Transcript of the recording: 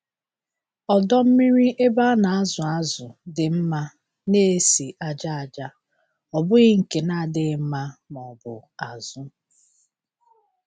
Ọdọ mmiri ebe a na-azụ azụ dị mma na-esi ájá aja, ọ bụghị nke na-adịghị mma maọbụ azụ.